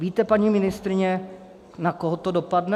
Víte, paní ministryně, na koho to dopadne?